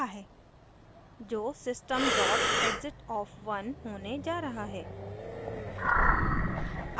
जो system exit 1 होने जा रहा है